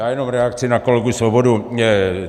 Já jenom reakci na kolegu Svobodu.